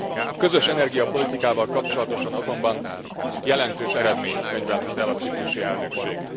A közös energiapolitikával kapcsolatosan azonban jelentős eredményt könyvelhet el a ciprusi elnökség.